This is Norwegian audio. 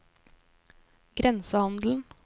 grensehandelen